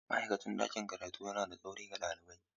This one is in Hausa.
Ma'aikacin ɗakin karatu yana da tsauri ga ɗalibai.